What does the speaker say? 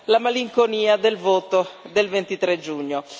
la malinconia del voto del 23 giugno.